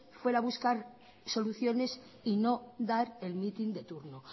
fuera a buscar soluciones y no dar el meeting de turno